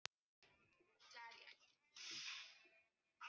Hún stækkar, sú litla, sagði hann.